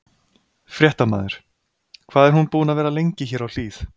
Fréttamaður: Hvað er hún búin að vera lengi hér á Hlíð?